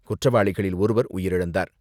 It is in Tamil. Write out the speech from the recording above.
குற்றவாளிகளில் ஒருவர் உயிரிழந்தார்.